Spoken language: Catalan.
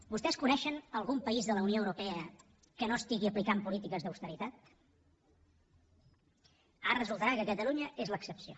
vostès coneixen algun país de la unió europea que no estigui aplicant polítiques d’austeritat ara resultarà que catalunya és l’excepció